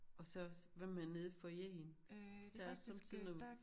Og så også hvad med nede i foyeren? Der er sommetider noget